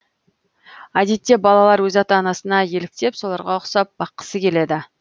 әдетте балалар өз ата анасына еліктеп соларға ұқсап баққысы келеді